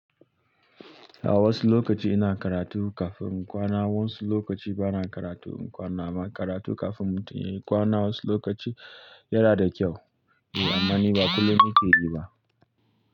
A wasu lokaci ina karatu kafin kwana, wasu lokaci bana karatu in kwana, amma karatu kafin mutum yayi kwana wasu lokaci yana da kyau. Eh, ammani ba kullum nike yi ba.